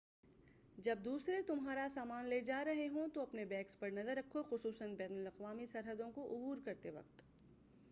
جب دوسرے تمہارا سامان لے جا رہے ہوں تو اپنے بیگس پر نظر رکھو خصوصاً بین الاقوامی سرحدوں کو عبور کرتے وقت